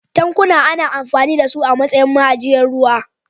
Tankuna ana amfani da su a matsayin ma'ajiyar ruwa.